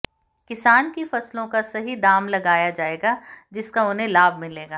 किसान की फसलों का सही दाम लगाया जाएगा जिसका उन्हें लाभ मिलेगा